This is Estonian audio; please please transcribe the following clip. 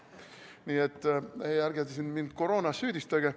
Nii et ärge mind koroonas süüdistage.